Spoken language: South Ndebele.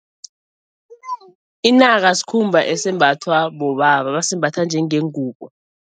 Inaka sikhumba esembathwa bobaba, basembatha njengengubo.